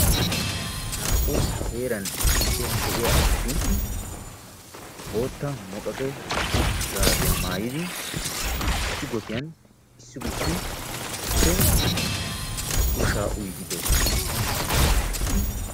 Naa"u heeran issippe de'iyaa asati bootta muqaqe gaabiyaa maayidi issi gotiyaan issi gutti issippe ushshaa uyiidi de'oosona.